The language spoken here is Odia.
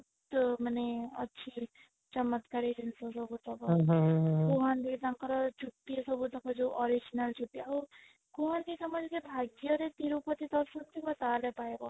ମାନେ ଅଛି ଚମତ୍କାରୀ ଜିନିଷ ସବୁ କୁହନ୍ତି ତାଙ୍କର ଚୁଟି ସବୁ ତାଙ୍କର ଯୋଉ original ଚୁଟି ଆଉ କୁହନ୍ତି ସମସ୍ତେ ଯେ ଭାଗ୍ୟ ରେ ତିରୁପତି ଦର୍ଶନ ଥିବା ତାହାଲେ ପାଇବ